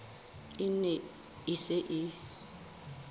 e ne e se e